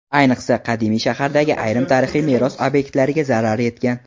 Ayniqsa, qadimiy shahardagi ayrim tarixiy meros obyektlariga zarar yetgan.